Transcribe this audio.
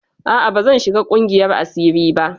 A'a bazan shiga ƙungiyar asiri ba.